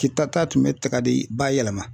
Kita ta tun bɛ tiga de bayɛlɛma